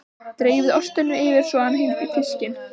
Dreifið ostinum yfir svo að hann hylji fiskinn.